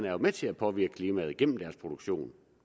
er med til påvirke klimaet gennem deres produktion